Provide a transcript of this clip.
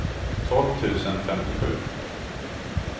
tolv tusen femtiosju